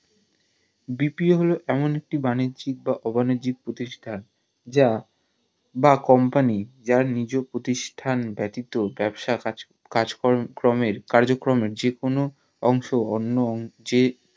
BPO হলো এমন একটি বাণিজ্যিক বা অবাণিজ্যিক প্রতিষ্টান যা বা company যার নিজ প্রতিষ্টান ব্যাতিত ব্যবসা কাজকর্মের যে কোনো অংশ অন্য অংশের